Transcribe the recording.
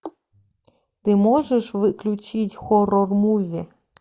ты можешь включить хоррор муви